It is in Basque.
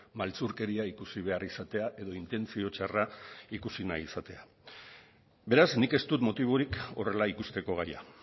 maltzurkeria ikusi behar izatea edo intentzio txarra ikusi nahi izatea beraz nik ez dut motiborik horrela ikusteko gaia